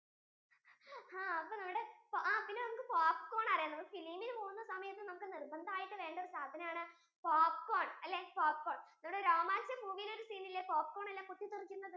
ആഹ് അപ്പൊ നമ്മുടെ ആ po~popcorn അറിയാലേ നമ്മൾ film പോവുന്ന സമയത്തു നമുക്കു നിർബന്ധമായിട്ടും വേണ്ട ഒരു സദനം ആണ് popcorn അല്ലെ popcorn ഇവിടെ രോമാഞ്ചം movie യിൽ ഒരു scene ഇല്ലേ popcorn ഒക്കെ പൊട്ടിത്തെറിക്കുന്നത്